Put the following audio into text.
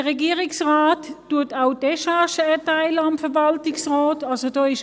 Der Regierungsrat erteilt dem Verwaltungsrat auch Décharge.